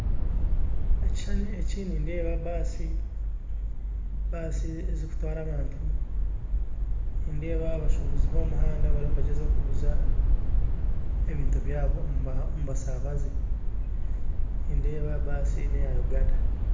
Ekishushani eki nindeeba baasi zirikutwara abantu nindeeba abasuubuzi bomumuhanda bariyo nibagyezaho kuguza ebintu byabo omu basabaze nindeeba baasi neya Uganda